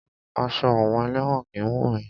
Aṣọ àwọn elẹ́wọ̀n kìí wunni.